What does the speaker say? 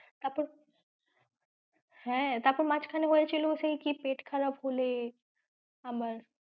তারপর হ্যাঁ তারপর মাঝখানে হয়েছিল সেই কি পেট খারাপ হলে আবার,